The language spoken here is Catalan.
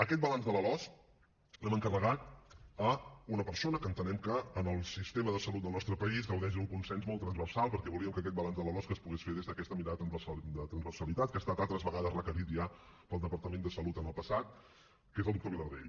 aquest balanç de la losc l’hem encarregat a una persona que entenem que en el sistema de salut del nostre país gaudeix d’un consens molt transversal perquè volíem que aquest balanç de la losc es pogués fer des d’aquesta mirada de transversalitat que ha estat altres vegades requerit ja pel departament de salut en el passat que és el doctor vilardell